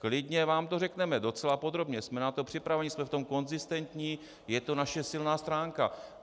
Klidně vám to řekneme, docela podrobně, jsme na to připraveni, jsme v tom konzistentní, je to naše silná stránka.